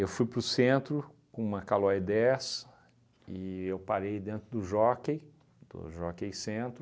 Eu fui para o centro com uma Calloy dez e eu parei dentro do Jockey, do Jockey Centro.